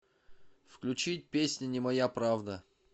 включить песню не моя правда